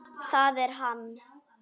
Það er hann.